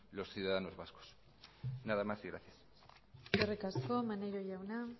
los ciudadanos vascos nada más y gracias eskerrik asko maneiro jauna